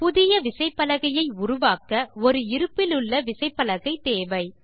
புதிய விசைப்பலகையை உருவாக்க ஒரு இருப்பிலுள்ள விசைப்பலகை தேவை